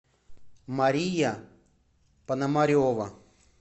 мария пономарева